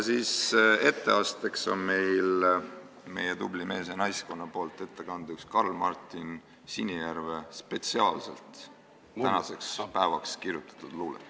Etteasteks on meie tublil mees- ja naiskonnal Karl Martin Sinijärve spetsiaalselt tänaseks päevaks kirjutatud luuletus.